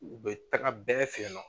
U bɛ taga bɛɛ fɛ yen nɔ.